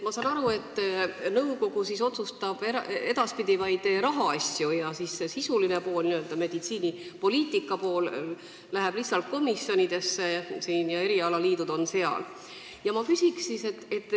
Ma sain aru, et nõukogu otsustab edaspidi vaid rahaasju ja see sisuline pool, meditsiinipoliitika pool, läheb lihtsalt üle komisjonidesse, kus on erialaliidud esindatud.